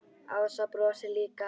Ása brosir líka.